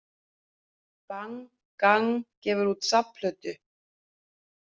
Bang Gang gefur út safnplötu